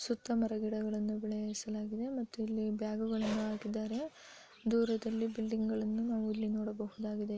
ಸುತ್ತಲೂ ಮರ ಗಿಡಗಳನ್ನು ಇಲ್ಲಿ ಬ್ಯಾಗ್ ಗಳನ್ನು ಹಾಕಿದ್ದಾರೆ ದೂರದಲ್ಲಿ ಬಿಲ್ಡಿಂಗ್ ಗಳನ್ನು ಸಹಾ ನೋಡಬಹುದಾಗಿದೆ.